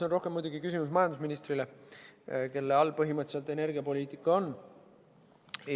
See on muidugi rohkem küsimus majandusministrile, kelle all põhimõtteliselt energiapoliitika on.